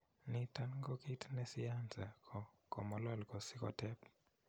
Niton ko kit ne siyansa ko komolol ko si kotep